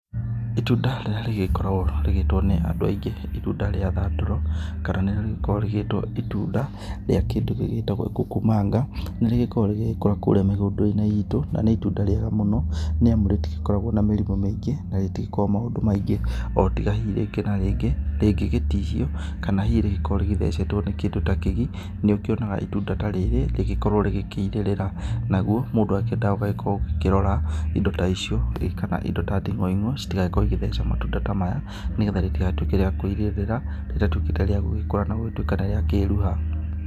Itunda rĩrĩa rĩgĩkoragwo rĩgĩtwo nĩ andũ aingĩ, itunda rĩa thandũro, kana nĩrĩo rĩgĩkorwo rĩgĩtwo itunda rĩa kĩndũ gĩgĩtagwo kuku manga. Nĩ rĩgĩkoragwo rĩgĩgĩkũra kuurĩa mĩgũnda-inĩ iitũ na nĩ itunda rĩega mũno nĩamu rĩtigĩkoragwo na mĩrimũ mĩingĩ na rĩtigĩkoragwo maũndũ maingĩ o tiga hihi rĩngĩ na rĩngĩ rĩngĩ gĩ tihio, kana hihi rĩgĩkorwo rĩthecetwo nĩ kĩndũ ta kĩgii, nĩ ũkĩonaga itunda ta rĩrĩ rĩgĩkorwo rĩkĩirĩrĩra, naguo mũndũ akĩendaga ugagĩkorwo ũkĩrĩrora indo ta icio, kana indo ta nding'oing'o ci tigagĩkorwo igĩtheca matunda ta maya nĩgetha rĩtigagĩtuĩke rĩa kũirĩrĩra, rĩgagĩtuĩka nĩ rĩakũra na nĩ rĩakĩruha.